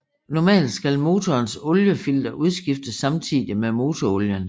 Normalt skal motorens oliefilter udskiftes samtidig med motorolien